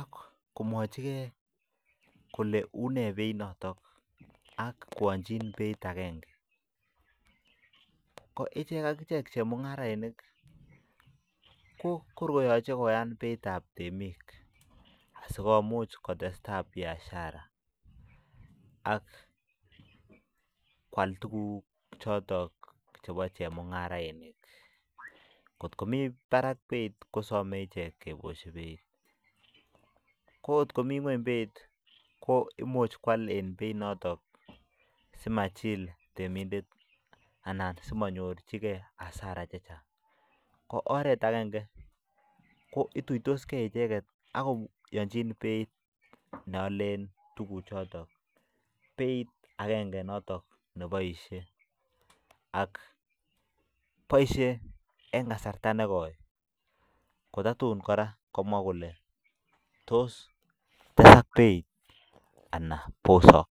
ak komwochikei kole une beinotok ak koanchin beit akenge, ko ichek ak ichek chemungarainik ko kor koyoche koyan beitab temik, asikomuch kotestai biashara ak kwal tukuk chotok chebo chemungarainik, ngot komi barak beit kosome ichek kebosyi beit, ko ngot komi nguny beit ko imuch kwal en beit notok si machil temindet anan simanyorchikei hasara che chang, ko oret akenge ko ituiytoskei icheket ak koyonchin beit ne alen tukucho, beit akenge notok neboisie ak boisie eng kasarta ne koi ko tatun kora komwa kole tos tesak beit anan bosok.